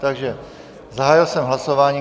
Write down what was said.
Takže zahájil jsem hlasování.